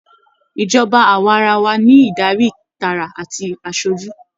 Ìjọba awaarawa ní Ìdarí tààrà àti asojú.